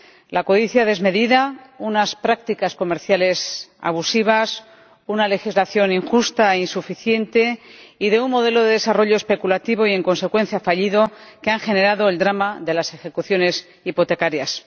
La codicia desmedida, unas prácticas comerciales abusivas, una legislación injusta e insuficiente y un modelo de desarrollo especulativo y, en consecuencia, fallido, han generado el drama de las ejecuciones hipotecarias.